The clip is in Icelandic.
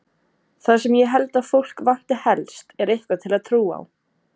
Það sem ég held að fólk vanti helst er eitthvað til að trúa á.